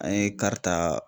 An ye ta